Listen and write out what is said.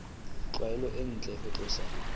tlwaelo e ntle ho tlosa